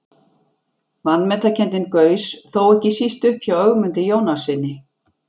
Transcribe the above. Vanmetakenndin gaus þó ekki síst upp hjá Ögmundi Jónassyni.